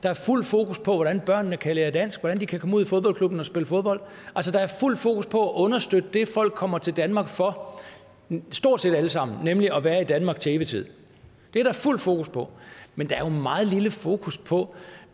er fuld fokus på hvordan børnene kan lære dansk hvordan de kan komme ud i fodboldklubber og spille fodbold altså der er fuld fokus på at understøtte det folk kommer til danmark for stort set alle sammen nemlig at være i danmark til evig tid det er der fuld fokus på men der er jo meget lille fokus på